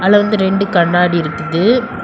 இதுல வந்து ரெண்டு கண்ணாடி இருக்குது.